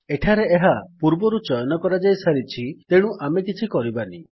ଏଠାରେ ଏହା ପୂର୍ବରୁ ଚୟନ କରାଯାଇସାରିଛି ତେଣୁ ଆମେ କିଛି କରିବାନି